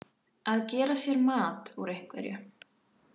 Að gera sér mat úr einhverju